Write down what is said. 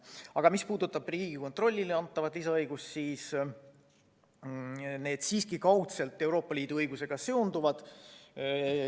Aga mis puudutab Riigikontrollile antavaid lisaõigusi, siis need on kaudselt Euroopa Liidu õigusega siiski seotud.